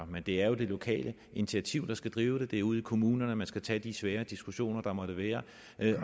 men det er jo det lokale initiativ der skal drive det det er ude i kommunerne man skal tage de svære diskussioner der måtte være